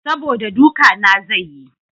Saboda duka na zai yi.